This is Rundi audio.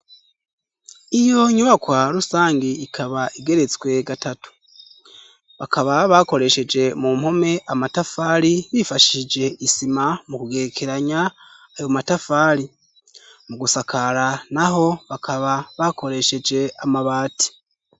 Iyo nyubakwa rusange ikaba igeretswe gatatu bakaba bakoresheje mu mpome amatafari bifashije isima mu kugerekeranya ayo matafali mu gusakara na ho bakaba bakoresheje amabati.